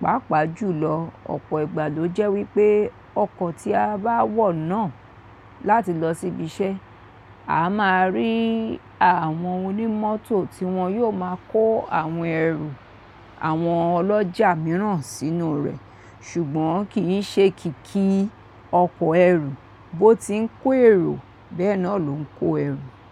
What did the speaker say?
Páápàá jùlọ, ọ̀pọ̀ ìgbà ló jẹ́ wípé ọkọ̀ tí a bá wọ̀ náà láti lọ síbi iṣẹ́, a máa rí àwọn onímọ́tò tí wọn yóò máa kó àwọn ẹrù àwọn ọlọ́jà mìíràn sínú rẹ̀, ṣùgbọ́n kì í ṣe kìkì ọkọ̀ ẹrù bó ti ń kó èrò bẹ́ẹ̀ náà ló ń kó ẹrù.